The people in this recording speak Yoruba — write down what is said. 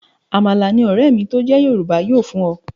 Àmàlà ni ọ̀rẹ́ mi tó jẹ́ Yorùbá yóò fún ọ.